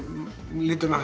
liturinn á